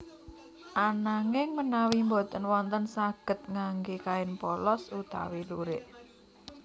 Ananging menawi boten wonten saged ngangge kain polos utawi lurik